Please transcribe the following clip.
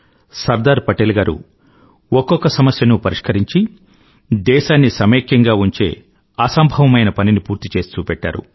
సర్దార్ పటేల్ గారు ఒక్కొక్క సమస్యనూ పరిష్కరించి దేశాన్ని సమైక్యంగా చేసే అసంభవమైన పనిని పూర్తిచేసి చూపెట్టారు